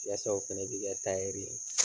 Yasa o fɛnɛ bi kɛ ye.